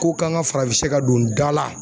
Ko kan ka farafinsɛ ka don da la.